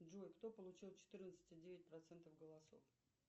джой кто получил четырнадцать и девять процентов голосов